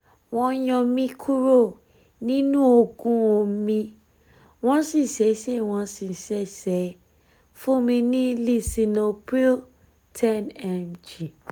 wọ́n yọ mí kúrò nínú oògùn omi wọ́n sì ṣẹ̀ṣẹ̀ wọ́n sì ṣẹ̀ṣẹ̀ fún mi ní lisinopril 10 mg